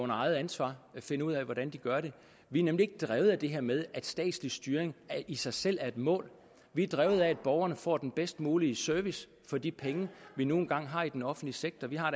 eget ansvar finde ud af hvordan de gør det vi er nemlig ikke drevet af det her med at statslig styring i sig selv er et mål vi er drevet af at borgerne får den bedst mulige service for de penge vi nu engang har i den offentlige sektor vi har